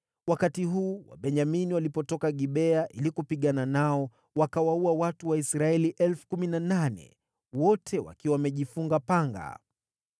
Wakati huu, Wabenyamini walipotoka Gibea ili kupigana nao, wakawaua watu Waisraeli 18,000, wote wakiwa wamejifunga panga.